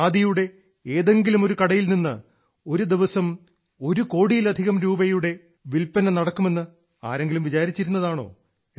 ഖാദിയുടെ ഏതെങ്കിലുമൊരു കടയിൽ നിന്ന് ഒരു ദിവസം ഒരു കോടിയിലധികം രൂപയുടെ വിൽപന നടക്കുമെന്ന് ആരെങ്കിലും വിചാരിച്ചിരുന്നതാണോ